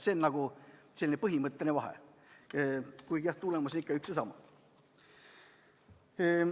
See on põhimõtteline vahe, kuigi, jah, tulemus on ikka üks ja sama.